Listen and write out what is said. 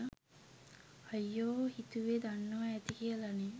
අයියෝ හිතුවේ දන්නවා ඇති කියලනේ